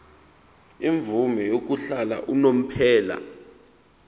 imvume yokuhlala unomphema